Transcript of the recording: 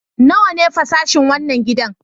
Nawa ne fasashin wannan gidan?